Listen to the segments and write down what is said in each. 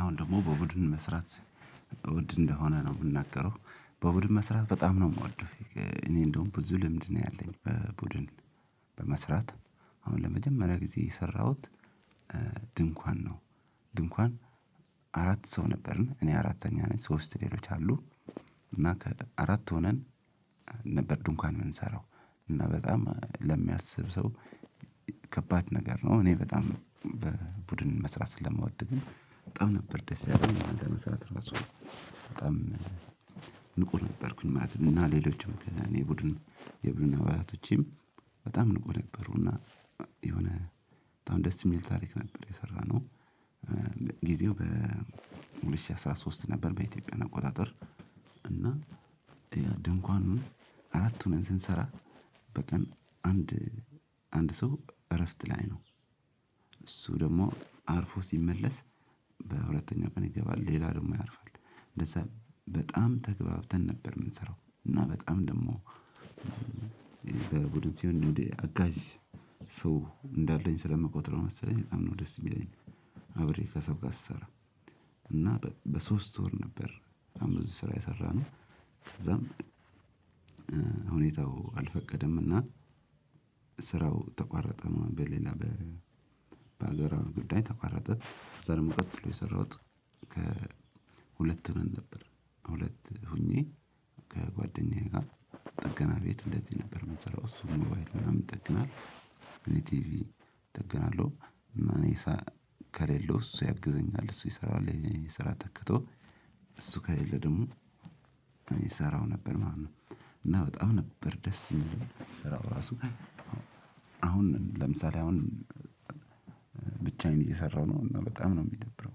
አሁን ደግሞ በቡድን መስራት በቡድን እንደሆነ ነው የምናገረው በቡድን መስራት በጣም ነው የምወደው። እኔ እንደውም ብዙ ልምድ ነው ያለኝ በቡድን በመስራት አሁን ለመጀመሪያ ጊዜ የሰራሁት። ድንኳን ነው። ድንኳን አራት ሰው ነበርን እኔ አራተኛ ነኝ ሶስት ሌሎች አሉ። እና ከአራት ሆነን ነበር ድንኳን የምንሰራው እና በጣም ለሚያስብ ሰው ከባድ ነገር ነው። እኔ በጣም በቡድን መስራት ስለምወድ ግን በጣም ነበር ደስ ያለኝ አንድላይ መስራት ራሱ በጣም ንቁ ነበርኩኝ ማለት ነው። እና ሌሎችም እና ከእኔ ቡድን የቡድን አባላቶቼም በጣም ንቁ ነበሩ እና የሆነ በጣም ደስ የሚል ታሪክ ነበር የሰራነው። ጊዜው በሁለት ሺህ አስራ ሶስት ነበር በኢትዮጵያ አቆጣጠር እና ድንኳኑን አራት ሁነን ስንሰራ። በቀን አንድ አንድ ሰው እረፍት ላይ ነው። እሱ ደግሞ አርፎ ሲመለስ በሁለተኛው ቀን ይገባል ሌላ ደግሞ ያርፋል። እንደዛ በጣም ተግባብተን ነበር የምንሰራው። እና በጣም ደግሞ በቡድን ሲሆን እንደ አጋዥ ሰው እንዳለኝ ስለምቆጥረው መሰለኝ በጣም ነወ ደስ የሚለኝ። አብሬ ከሰው ጋር ስሰራ እና በሶስት ወር ነበር በጣም ብዙ ስራ የሰራነው። ከዛም ሁኔታው አልፈቀደምና ስራው ተቋረጠ ማለት ነው። በሌላ በሀገራዊ ጉዳይ ተቋረጠ። ከዛ ደግሞ ቀጥሎ የሰራውት ከ ሁለት ሁነን ነበር ሁለት ሆኜ ከጓደኛዬ ጋር ጠገና ቤት እንደዚህ ነበር የምንሰራው። እሱ ሞባይሉ ምናምን ይጠግናል። እኔ ቲቪ እጠግናለሁ። እና እኔ ከሌለው እሱ ያግዘኛል እሱ ይሰራል የኔን ስራ ተክቶ እሱ ከሌለ ደግሞ እኔ እሰራው ነበር ማለት ነው። እና በጣም ነበር ደስ የሚለው ስራው ራሱ አሁን ለምሳሌ አሁን ብቻዬን እየሰራሁ ነው እና በጣም ነው እሚደብረው።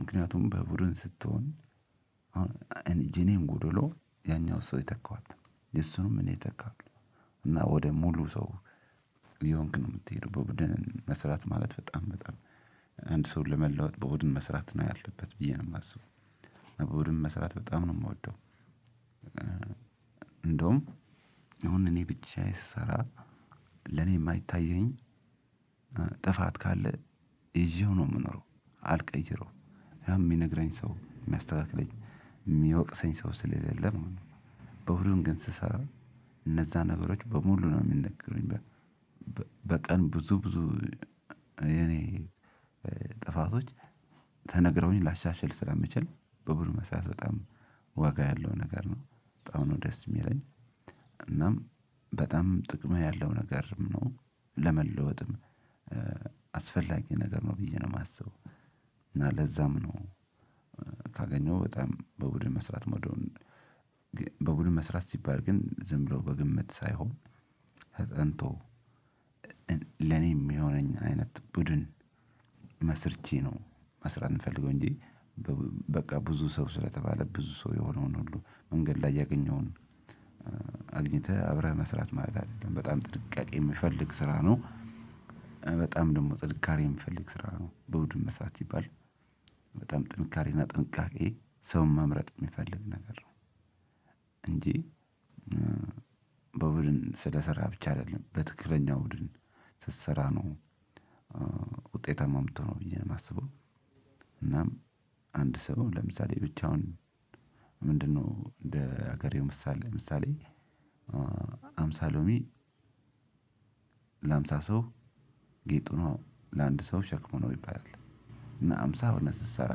ምክንያቱም በቡድን ስትሆን የኔን ጉደሎ ያኛው ሰው የተካዋል የሱንም እኔ የተካውአለሁ እና ወደ ሙሉ ሰው እየሆንክ ነው የምትሄደው። በቡድን መስራት ማለት በጣም በጣም አንድ ሰው ለመለወጥ በቡድን መስራት ነው ያለበት ብዬ ነው የማስበው በቡድን መስራት በጣም ነው የምወደው። እንደውም አሁን እኔ ብቻዬን ስሰራ ለኔ የማይታየኝ ጥፋት ካለ ይዤው ነው የምኖረው አልቀይረውም ያን እሚነግረኝ ሰው እሚያስተካክለኝ እሚወቅሰኝ ሰው ስለሌለ ማለት ነው። በሁሉም ግን ስሰራ እነዛን ነገሮች በሙሉ ነው እሚነገሩኝ። በቀን ብዙ ብዙ የኔ ጥፋቶች ተነግረውኝ ላሻሽል ስለምችል በቡድን መስራት በጣም ዋጋ ያለው ነገር ነው። በጣም ነው ደስ የሚለኝ። እናም በጣም ጥቅም ያለው ነገርም ነው። ለመለወጥም አስፈላጊ ነገር ነው ብዬ ነው የማስበው። እና ለዛም ነው ካገኘው በጣም በቡድን መስራት እምወደወን። በቡድን መስራት ሲባል ግን ዝም ብሎ በግምት ሳይሆን ተጠንቶ ለኔ እሚሆነኝ አይነት ቡድን መስርቼ ነው። መስራት እምፈልገው እንጂ በቃ ብዙ ሰው ስለተባለ ብዙ ሰው የሆነውን ሁሉ መንገድ ላይ ያገኘውን አግኝተህ አብረህ መስራት ማለት አይደለም በጣም ጥንቃቄ የሚፈልግ ስራ ነው። በጣም ደግሞ ጥንካሬ የሚፈልግ ስራ ነው። በቡድን መስራት ሲባል በጣም ጥንካሬና ጥንቃቄ ሰውን መምረጥ እሚፈልግ ነገር ነው። እንጂ በቡድን ስለሰራህ ብቻ አይደለም በትክክለኛው ቡድን ስትሰራ ነው። ውጤታማ እምትሆነው ብዬ ነው የማስበው። እናም አንድ ሰው ለምሳሌ ብቻውን ምንድንነው? እንደ ሀገሬው ምሳሌ ምሳሌ ሃምሳ ሎሚ ለሀምሳ ሰው ጌጡ ነው ለአንድ ሰው ሸክሙ ነው ይባላል። እና ሃምሳ ሆነህ ስትሰራ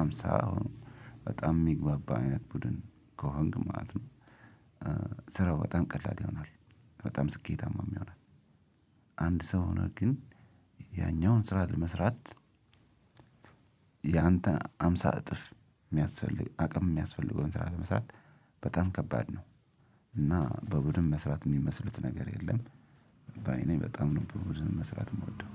ሃምሳ ሆኖ በጣም የሚግባባ አይነት ቡድን ከሆንክ ማለት ነው። ስራው በጣም ቀላል ይሆናል። በጣም ስኬታማም ይሆናል። አንድ ሰው ሆነህ ግን ያኛውን ስራ ለመስራት የአንተ ሃምሳ እጥፍ የሚያስፈልግ አቅም እሚያስፈልገውን ስራ ለመስራት በጣም ከባድ ነው። እና በቡድን መስራት የሚመስሉት ነገር የለም። በእኔ በጣም ነው በቡድን መስራት የምወደው